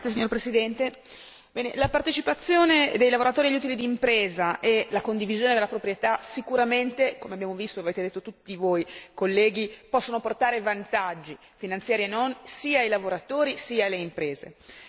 Signor Presidente, onorevoli colleghi, la partecipazione dei lavoratori agli utili d'impresa e la condivisione della proprietà sicuramente, come abbiamo visto e avete detto tutti voi colleghi, possono portare vantaggi, finanziari e non, sia ai lavoratori, sia alle imprese.